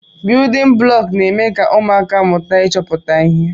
Biyudin bụlọku n'eme ka ụmụaka mụta ịchọpụta ihe.